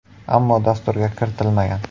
Ammo dasturga kiritilmagan.